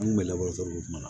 An kun bɛ lakɔli kuma na